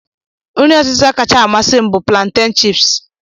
Nri ọtịta kacha amasị m bụ planten chips